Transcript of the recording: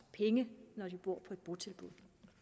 penge når de bor i et botilbud